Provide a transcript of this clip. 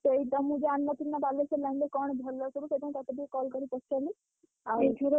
ସେଇତ ମୁଁ ଜାଣି ନଥିଲି ନା ବାଲେଶ୍ୱର line ରେ କଣ ଭଲ ସବୁ ସେଥିପାଇଁ ତତେ ଟିକେ call କରି ପଚାରିଲି।